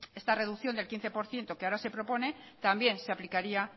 esta reducción del quince por ciento que ahora se propone también se aplicaría